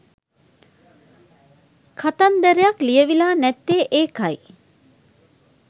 කතන්දරයක් ලියවිලා නැත්තෙ ඒකයි.